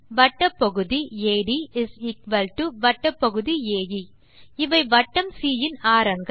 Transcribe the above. வட்டப்பகுதி AD வட்டப்பகுதி A இவை வட்டம் சி இன் ஆரங்கள்